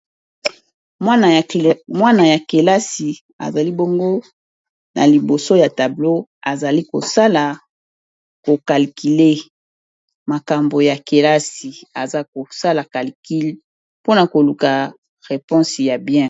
Mwana ya kelasi azali bongo na liboso ya tableau azali ko sala calcule makambo ya kelasi aza kosala calcule pona ko luka reponei ya bien .